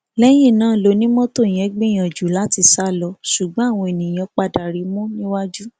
lẹyìn náà lọnimọtò yẹn gbìyànjú láti sá lọ ṣùgbọn àwọn èèyàn padà rí i mú níwájú